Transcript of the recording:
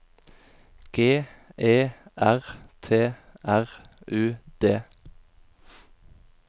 G E R T R U D